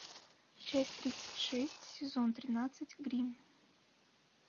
часть тридцать шесть сезон тринадцать гримм